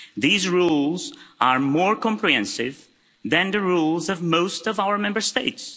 These rules are more comprehensive than the rules of most of our Member States.